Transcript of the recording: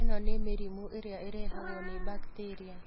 ĩno nĩ mĩrimũ ĩrĩa ĩrehagwo nĩ bakteria